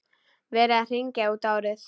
Verið að hringja út árið.